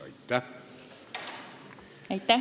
Aitäh!